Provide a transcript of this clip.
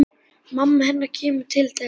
Mamma hennar kemur til þeirra.